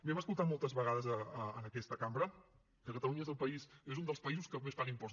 hem escoltat moltes vegades en aquesta cambra que catalunya és un dels països que més paga impostos